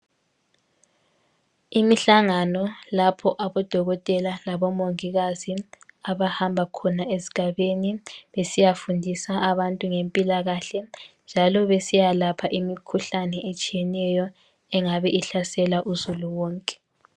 Imihlangano lapho abodokotela labomongikazi abahamba khona esigabeni besiyafundisa abantu ngempilakahle, njalo besiyalapha imikhuhlane etshiyeneyo engabe ihlasela uzulu wonke.